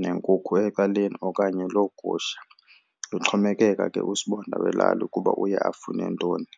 nenkukhu ecaleni okanye loo gusha. Kuxhomekeka ke usibonda welali ukuba uye afune ntoni.